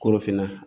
Korofinna